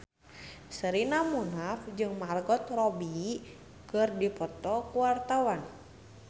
Sherina Munaf jeung Margot Robbie keur dipoto ku wartawan